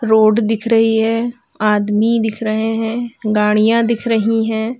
Road दिख रही है आदमी दिख रहे हैं गाडियां दिख रही है।